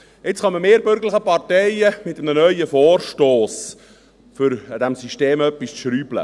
Nun kommen wir bürgerlichen Parteien mit einem neuen Vorstoss, um an diesem System etwas rumzuschrauben.